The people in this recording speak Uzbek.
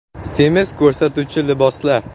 Semiz ko‘rsatuvchi liboslar.